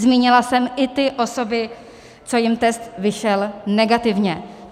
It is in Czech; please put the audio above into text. Zmínila jsem i ty osoby, co jim test vyšel negativně.